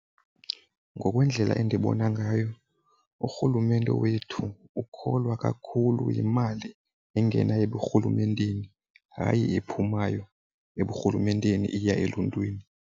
Ngokwendlela endibona ngayo urhulumente wethu ukholwa kakhulu yimali engena eburhulumenteni, hayi ephumayo eburhulumenteni iya eluntwini.